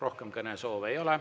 Rohkem kõnesoove ei ole.